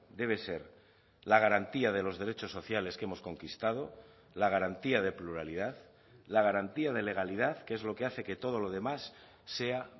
debe ser la garantía de los derechos sociales que hemos conquistado la garantía de pluralidad la garantía de legalidad que es lo que hace que todo lo demás sea